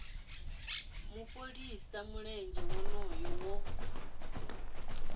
mu fholisa mulenzhe wonoyo wo